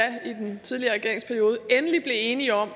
i den tidligere regeringsperiode endelig enige om